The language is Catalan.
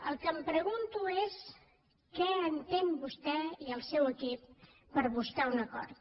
el que em pregunto és què entén vostè i el seu equip per buscar un acord